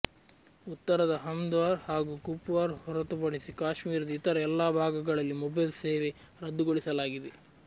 ಉತ್ತರದ ಹಂದ್ವಾರ ಹಾಗೂ ಕುಪ್ವಾರ ಹೊರತುಪಡಿಸಿ ಕಾಶ್ಮೀರದ ಇತರ ಎಲ್ಲ ಭಾಗಗಳಲ್ಲಿ ಮೊಬೈಲ್ ಸೇವೆ ರದ್ದುಗೊಳಿಸಲಾಗಿದೆ